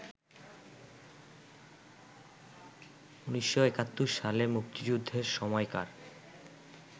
১৯৭১ সালে মুক্তিযুদ্ধের সময়কার